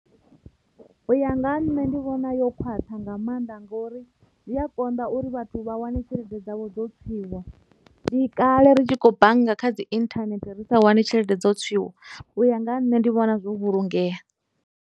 U ya nga ha nṋe ndi vhona yo khwaṱha nga maanḓa ngori zwi a konḓa uri vhathu vha wane tshelede dzavho dzo tswiwa ndi kale ri tshi khou bannga kha dzi internet risa wani tshelede dzo tswiwa u ya nga ha nṋe ndi vhona zwo vhulungea.